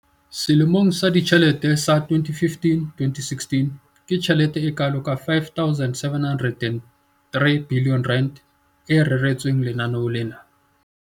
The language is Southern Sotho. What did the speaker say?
Selemong sa ditjhelete sa 2015-16, ke tjhelete e kalo ka R5 703 bilione e reretsweng lenaneo lena.